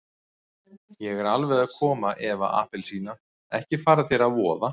Ég er alveg að koma Eva appelsína, ekki fara þér að voða.